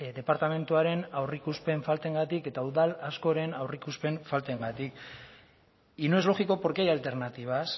departamentuaren aurreikuspen faltarengatik eta udal askoren aurreikuspen faltarengatik y no es lógico porque hay alternativas